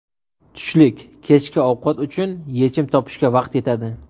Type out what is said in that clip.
Tushlik, kechki ovqat uchun yechim topishga vaqt yetadi.